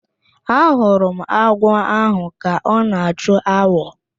Ahụrụ m agwọ ahụ ka ọ na-achụ awọ